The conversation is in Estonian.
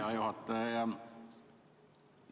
Hea juhataja!